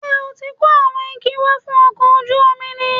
Ṣé o ti kó àwọn igi wá fún ọkọ̀ ojú omi ni?